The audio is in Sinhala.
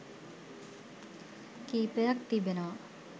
කීපයක් තිබෙනවා.